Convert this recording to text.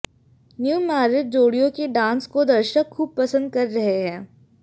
newly married जोड़ियों के dance को दर्शक खूब पसंद कर रहे हैं